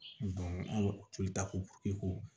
an ka to tako ko